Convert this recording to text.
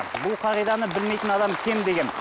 бұл қағиданы білмейтін адам кем де кем